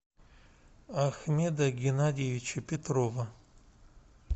ахмеда геннадьевича петрова